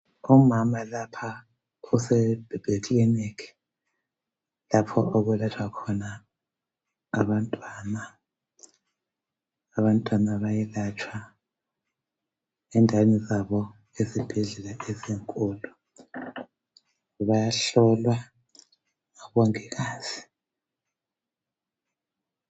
Umama lapha use baby clinic lapho okulatshwa khona abantwana, abantwana bayelatshwa endaweni zabo ezibhedlela ezinkulu bayahlolwa ngabongikazi.